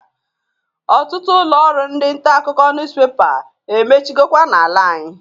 Ọtụtụ ụlọ ọrụ ndi ntakụkọ nuspepa emechigokwa na-ala anyị.